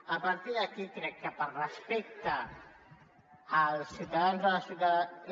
a partir d’aquí crec que per respecte als ciutadans i a les ciutadanes